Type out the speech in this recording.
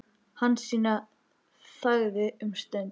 Hansína þagði um stund.